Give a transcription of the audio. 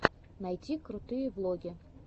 найти крутые влоги